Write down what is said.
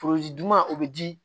juma o bɛ di